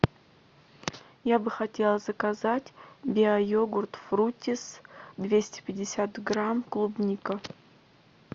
я бы хотела заказать биойогурт фруттис двести пятьдесят грамм клубника